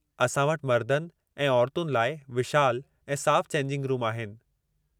असां वटि मर्दनि ऐं औरतुनि लाइ विशालु ऐं साफ़ु चेंजिंग रूम आहिनि।